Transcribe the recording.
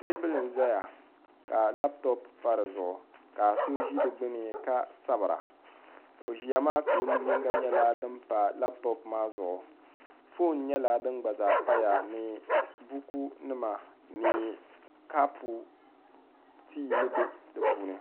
teebuli n zaya ka lapitɔpu pa di zuɣu ka so ʒi di gbini ka sabira o ʒia maa ka o nu' yinga nyɛla din pa lapitɔpu maa zuɣu foon nyɛla din gba zaa paya ni bukunima ni kapu tii ni be di puuni